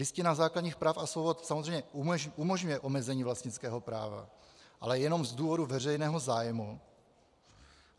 Listina základních práv a svobod samozřejmě umožňuje omezení vlastnického práva, ale jenom z důvodu veřejného zájmu.